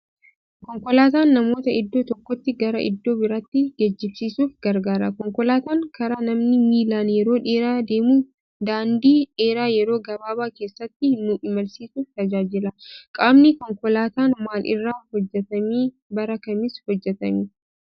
Konkolaataan namoota iddoo tokkooti gara iddoo biraattii geejibsiisuuf gargaara konkolaataan karaa namni miilaan yeroo dheeraa deemu daandii dheeraa yeroo gababaa keessatti nu imalsiisuuf tajaajila. Qaamni konkolaataan maal irra hojjetame bara kamis hojjetame?